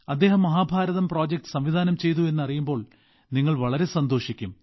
അദ്ദേഹം മഹാഭാരതം പ്രൊജക്ട് സംവിധാനം ചെയ്തു എന്നറിയുമ്പോൾ നിങ്ങൾ വളരെ സന്തോഷിക്കും